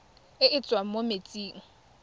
e e tswang mo metsing